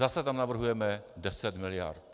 Zase tam navrhujeme 10 miliard.